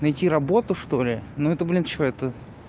найти работу что ли ну это блин что это